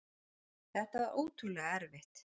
Þetta var ótrúlega erfitt.